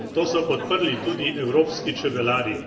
To so podprli tudi evropski čebelarji.